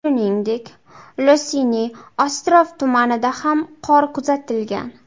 Shuningdek, Losiniy ostrov tumanida ham qor kuzatilgan.